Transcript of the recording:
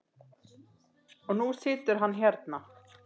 Og nú situr hann hérna.